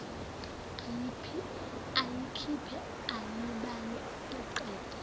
ayikhiphe ayibale aqede